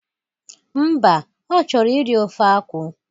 Mba, ọ chọrọ iri ofe akwụ